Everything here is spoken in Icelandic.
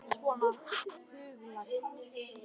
Svona huglægt séð.